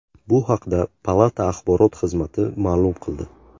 Bu haqda palata axborot xizmati ma’lum qildi .